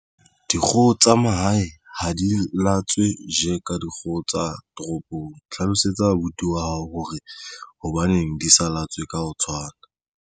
Dikgoho tsa mahae ha di latswe je ka dikgoho tsa toropong. Hlalosetsa abuti wa hao hore hobaneng di sa latswe ka ho tshwana.